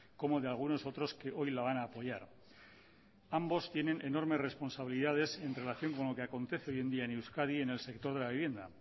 como de algunos otros que hoy la van a apoyar ambos tienen enormes responsabilidades en relación con lo que acontece hoy en día en euskadi en el sector de la vivienda